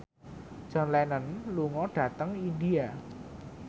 John Lennon lunga dhateng India